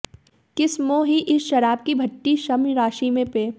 किस्मों ही इस शराब की भठ्ठी सभ्य राशि में पेय